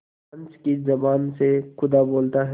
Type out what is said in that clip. पंच की जबान से खुदा बोलता है